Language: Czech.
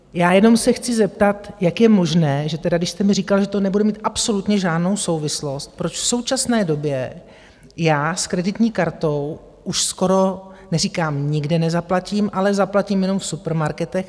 Já jenom se chci zeptat, jak je možné, že tedy, když jste mi říkal, že to nebude mít absolutně žádnou souvislost, proč v současné době já s kreditní kartou už skoro - neříkám, nikdy nezaplatím, ale zaplatím jenom v supermarketech.